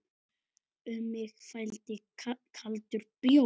Um mig flæddi kaldur bjór.